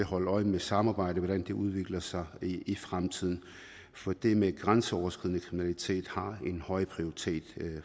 holde øje med samarbejdet og det udvikler sig i fremtiden for det med grænseoverskridende kriminalitet har en høj prioritering